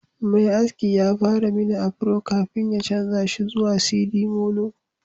Mai aski ya fara mini afro kafin ya canza shi zuwa sidimolo